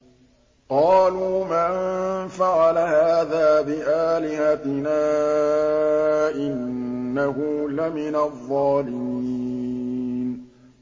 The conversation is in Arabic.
قَالُوا مَن فَعَلَ هَٰذَا بِآلِهَتِنَا إِنَّهُ لَمِنَ الظَّالِمِينَ